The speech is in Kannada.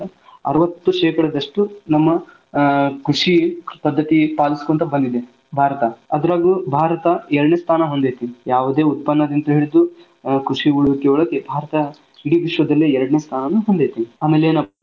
ಅರವತ್ತು ಶೇಕಡದಷ್ಟೂ ನಮ್ಮ ಆ ಕೃಷಿಯಲ್ಲಿ ಪದ್ದತಿ ಪಾಲಿಸಿಕೊಂತ ಬಂದಿದೆ ಭಾರತ. ಅದ್ರಲ್ಲೂ ಭಾರತ ಎರ್ಡನೇ ಸ್ಥಾನ ಹೊಂದೇತಿ ಯಾವದು ಉತ್ಪನ್ನದಿಂದ ಹಿಡಿದು ಕೃಷಿ ಉಳ್ವಿಕೆಯೊಳಗೆ ಭಾರತ ಇಡೀ ವಿಶ್ವದಲ್ಲೇ ಎರ್ಡನೇ ಸ್ಥಾನ ಹೊಂದೇತಿ ಆಮೇಲ ಏನಪ್ಪಾ.